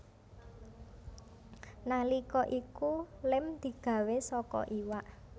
Nalika iku lem digawé saka iwak